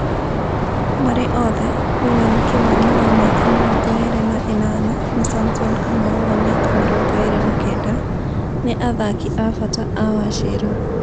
Marĩ othe; William Kĩmani wa mĩaka mĩrongo ĩrĩ na ĩnana na Samson Kamau wa mĩaka mĩrongo ĩrĩ na kenda, nĩ athaki a bata a Wachira